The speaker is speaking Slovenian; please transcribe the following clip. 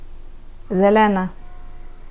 Zelena.